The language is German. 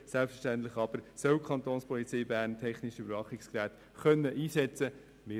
Selbstverständlich aber soll die Kapo Bern technische Überwachungsgeräte einsetzen können.